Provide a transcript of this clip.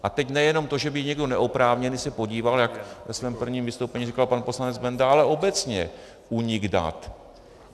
A teď nejenom to, že by někdo neoprávněný se podíval, jak ve svém prvním vystoupení říkal pan poslanec Benda, ale obecně únik dat.